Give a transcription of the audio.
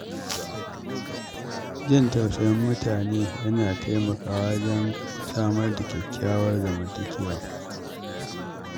Jin tausayin mutane yana taimaka wa wajen samar da kyakkyawar zamantakewa.